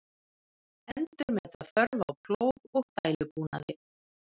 Endurmeta þörf á plóg og dælubúnaði